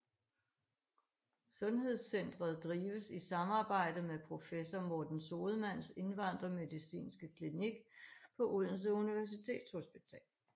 Sundhedscentret drives i samarbejde med professor Morten Sodemanns indvandrermedicinske klinik på Odense Universitetshospital